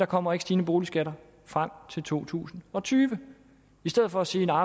kommer stigende boligskatter frem til to tusind og tyve i stedet for sige at